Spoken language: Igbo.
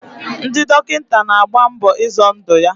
Ndị dọkịta na-agba mbọ izọ ndụ ya.